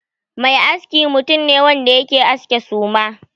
Mai aski mutum ne wanda yake aske suma.